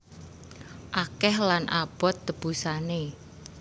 Akeh lan abot tebusané